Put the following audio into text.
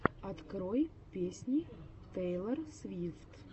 открой песни тейлор свифт